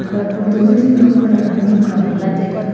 eya photo ma chu harang pa ra hamnu kha ngan lah taiga.